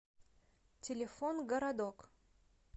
телефон городок